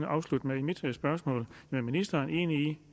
afslutte med i mit spørgsmål er ministeren enig i